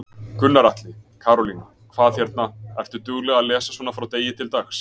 Gunnar Atli: Karólína, hvað hérna, ertu dugleg að lesa svona frá degi til dags?